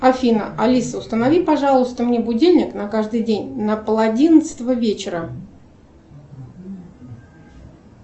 афина алиса установи пожалуйста мне будильник на каждый день на пол одиннадцатого вечера